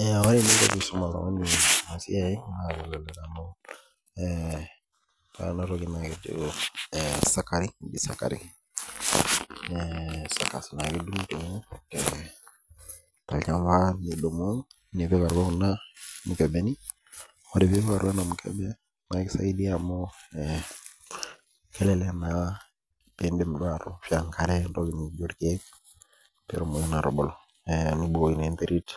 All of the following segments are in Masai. Ee ore eninko pisum oltungani enasia na ore enatoki na keji suckering ee tolchamba nidumu nipik atua irmukebeni am kelek eoshoto ntokitin naijo irkiek empikata enkare petumoki atubulu nebukokini enterit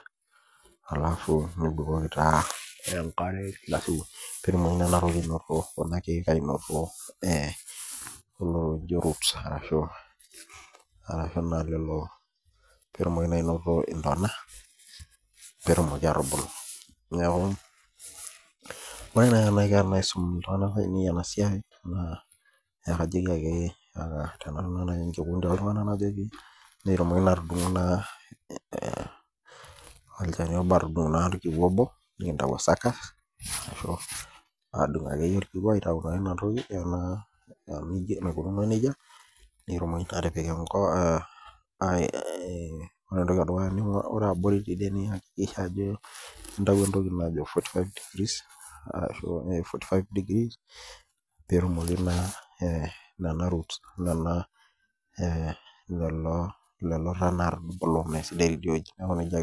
petumoki kuna kiek ainoto olojo ruts ashu lolo petumoki ainoto ndana petumoki atubulu orw nai enaiko paisim ltunganak oo latudungu naa olchani obo nikintau o sucker adung akeyie aitau enatoki naikunono nejia ore abori ine niakikisha ajo intau entoki naji forty five degrees petumoki naa lolo taai peaku kesidai inewueji